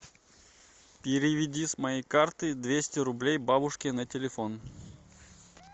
переведи с моей карты двести рублей бабушке на телефон